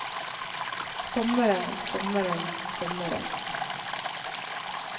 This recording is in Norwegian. sommeren sommeren sommeren